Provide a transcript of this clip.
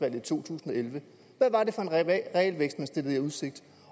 i 2011 hvad var det for en realvækst man stillede i udsigt